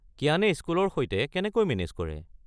কিয়ানে স্কুলৰ সৈতে কেনেকৈ মেনে'জ কৰে।